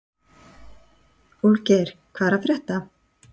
Úlfgeir, hvað er að frétta?